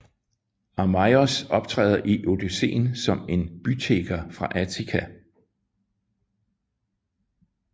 Arnaios optræder i Odysseen som en bytigger fra Ithaka